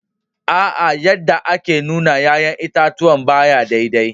Aa, yadda ake nuna yayan itatuwan ba ya daidai